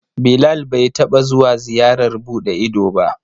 Bilal bai taɓa zuwa ziyarar buɗe ido ba.